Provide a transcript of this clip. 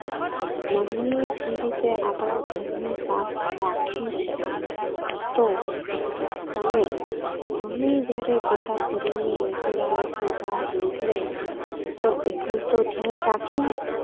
mummy જેવી રીતે આપણા ઘરને સાફ રાખે છે તો તમે મમ્મી જયારે પોતાં કરીને રસોડામાંથી બહાર નીકળે તો એટલું તો ધ્યાન રાખીએ